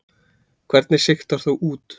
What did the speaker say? Hvernig sigtar þú út?